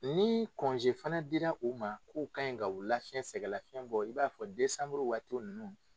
Ni fana dira u ma k'u kan ka u lafiɲɛ sɛgɛlafiɲɛ bɔ i b'a fɔ desanburu waati ninnu